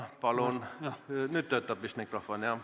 Palun!